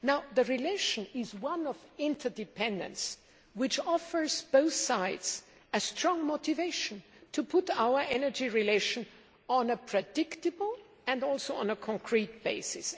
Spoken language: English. The relation is one of interdependence, which offers both sides a strong motivation to put our energy relations on a predictable and also on a concrete basis.